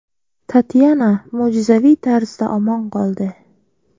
Tatyana mo‘jizaviy tarzda omon qoldi.